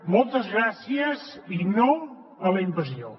moltes gràcies i no a la invasió